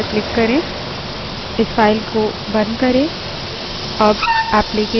इस file को बंद करें